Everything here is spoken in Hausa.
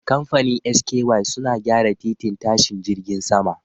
Kamfanin SKY suna gyara titin tashin jirgin sama